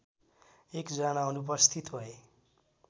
एकजना अनुपस्थित भए